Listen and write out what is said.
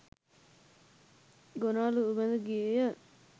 ගෝනා ලුහුබැඳ ගියේය.